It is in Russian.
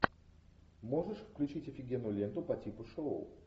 можешь включить офигенную ленту по типу шоу